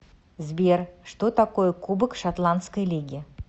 сбер что такое кубок шотландской лиги